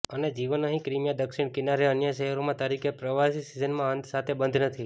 અને જીવન અહીં ક્રિમીયા દક્ષિણ કિનારે અન્ય શહેરોમાં તરીકે પ્રવાસી સિઝનના અંત સાથે બંધ નથી